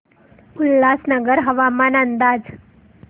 उल्हासनगर हवामान अंदाज